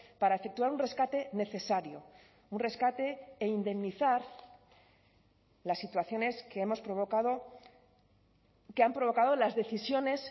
para efectuar un rescate necesario un rescate e indemnizar las situaciones que hemos provocado que han provocado las decisiones